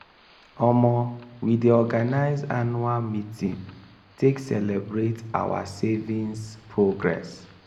omo we dey organize anuual meeting take celebrate our saviings progress.